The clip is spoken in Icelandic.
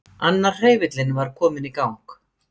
Annar hreyfillinn var kominn í gang.